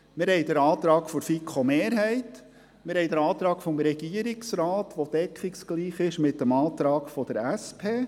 Wir haben den Antrag der FiKo-Mehrheit, den Antrag des Regierungsrates, der deckungsgleich mit dem Antrag der SP ist;